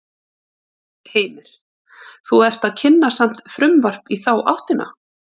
Heimir: Þú ert að kynna samt frumvarp í þá áttina?